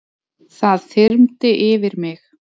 Það þyrmdi yfir mig.